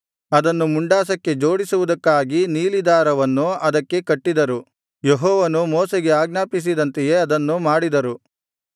ಅದನ್ನು ಮುಂಡಾಸಕ್ಕೆ ಜೋಡಿಸುವುದಕ್ಕಾಗಿ ನೀಲಿ ದಾರವನ್ನು ಅದಕ್ಕೆ ಕಟ್ಟಿದರು ಯೆಹೋವನು ಮೋಶೆಗೆ ಆಜ್ಞಾಪಿಸಿದಂತೆಯೇ ಅದನ್ನು ಮಾಡಿದರು